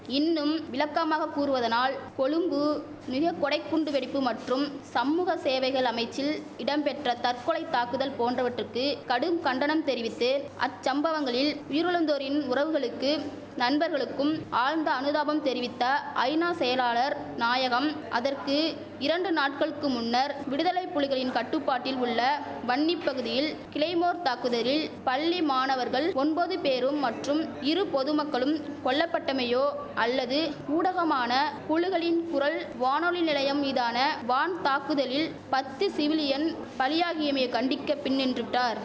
இன்னும் விளக்கமாக கூறுவதானால் கொழும்பு நிகக்கொடை குண்டுவெடிப்பு மற்றும் சம்மூக சேவைகள் அமைச்சில் இடம்பெற்ற தற்கொலை தாக்குதல் போன்றவற்றுக்கு கடும் கண்டனம் தெரிவித்து அச்சம்பவங்களில் உயிரிழந்தோரின் உறவுகளுக்கு நண்பர்களுக்கும் ஆழ்ந்த அனுதாபம் தெரிவித்த ஐநா செயலாளர் நாயகம் அதற்கு இரண்டு நாட்களுக்கு முன்னர் விடுதலை புலிகளின் கட்டுபாட்டில் உள்ள வன்னி பகுதியில் கிளைமோர் தாக்குதலில் பள்ளி மாணவர்கள் ஒம்பது பேரும் மற்றும் இரு பொதுமக்களும் கொல்லபட்டமையையோ அல்லது ஊடகமான புலுகளின் குரல் வானொலி நிலையம் மீதான வான் தாக்குதலில் பத்து சிவிலியன் பலியாகியமையையோ கண்டிக்கப் பின்நின்றுவிட்டார்